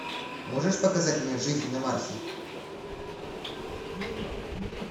можешь показать мне жизнь на марсе